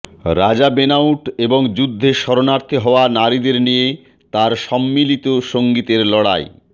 রাজা বেনাউট এবং যুদ্ধে শরণার্থী হওয়া নারীদের নিয়ে তার সম্মিলিত সঙ্গীতের লড়াই